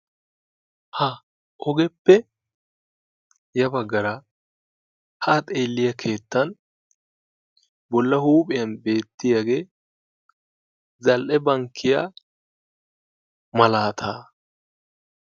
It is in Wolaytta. ha ogeppe ya bagaara haa xeeliya keettan bola huuphiyan beetiyage zal'e bankkiya malaataa.